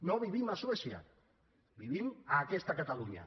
no vivim a suècia vivim a aquesta catalunya